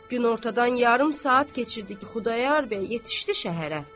Günortadan yarım saat keçirdi ki, Xudayar bəy yetişdi şəhərə.